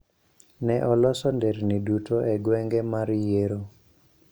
Ne oloso nderni duto e gweng'e mar yiero.